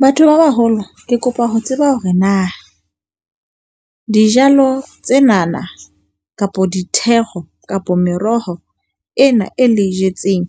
Batho ba baholo, ke kopa ho tseba hore na dijalo tsenana kapa dithero kapa meroho ena e le e jetseng